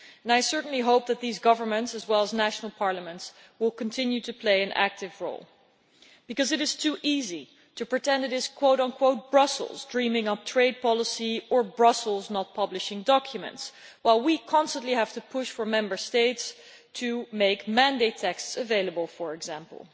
I certainly hope that these governments, as well as national parliaments, will continue to play an active role because it is too easy to pretend it is Brussels' dreaming up trade policy or Brussels' not publishing documents, while we constantly have to push for Member States to make mandate texts available, for example.